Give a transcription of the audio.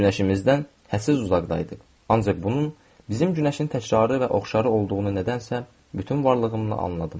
Günəşimizdən hədsiz uzaqda idi, ancaq bunun bizim günəşin təkrarı və oxşarı olduğunu nədənsə bütün varlığımla anladım.